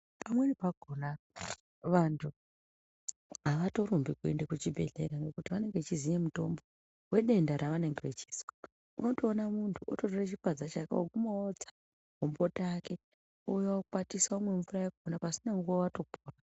Pamweni pakona vantu avatorumbi kuende kuchibhehlera ngekuti vanenge vachiziye mutombo wedenda ravanenge vechizwa unotoona muntu ototora chipadza chake ogumaotsa gomboti ake ouya okwatisa omwe mvura yakona pasina nguwa watopora.